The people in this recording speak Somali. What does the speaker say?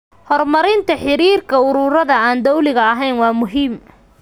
Horumarinta xiriirka ururada aan dowliga ahayn waa muhiim.